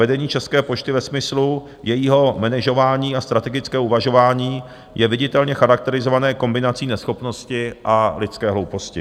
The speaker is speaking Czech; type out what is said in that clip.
Vedení České pošty ve smyslu jejího manažování a strategického uvažování je viditelně charakterizované kombinací neschopnosti a lidské hlouposti.